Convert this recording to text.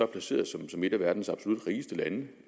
placeret som som et af verdens absolut rigeste lande